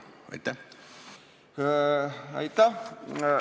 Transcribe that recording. Aitäh!